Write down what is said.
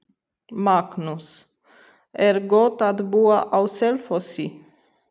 Magnús: Er gott að búa á Selfossi?